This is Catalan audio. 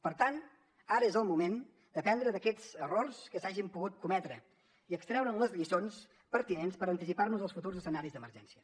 per tant ara és el moment d’aprendre d’aquests errors que s’hagin pogut cometre i extreure’n les lliçons pertinents per anticipar nos als futurs escenaris d’emergència